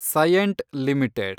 Cyient limited